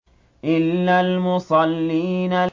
إِلَّا الْمُصَلِّينَ